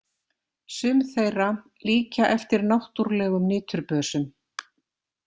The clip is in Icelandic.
Sum þeirra líkja eftir náttúrlegum niturbösum.